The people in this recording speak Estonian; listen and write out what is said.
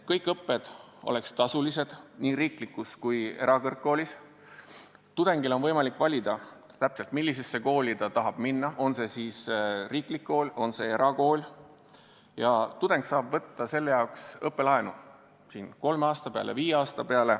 Kõik õpped võiks olla tasulised nii riiklikus kui ka erakõrgkoolis, tudengil oleks võimalik valida, mis kooli ta tahab minna, on see siis riiklik kool või erakool, ja tudeng saab võtta selleks õppelaenu kolme või viie aasta peale.